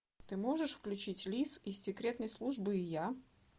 ты можешь включить лис из секретной службы и я